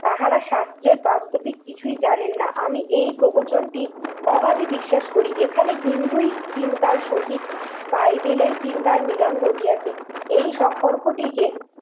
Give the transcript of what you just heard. তাহারা শাস্ত্রে প্রতি কিছুই জানেন না। আমি এই প্রবচনটি অবাধে বিশ্বাস করি। এখানে হিন্দুই চিন্তার সহিত বাইবেলের চিন্তার মিলন ঘটিয়াছে। এই সম্পর্কটিকে